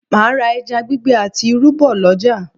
Mà á ra ẹja gbígbẹ àti irú bọ̀ lọ́jà